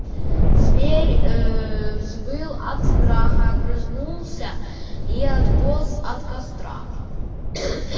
зверь ээ взвыл от страха огрызнулся и отполз от костра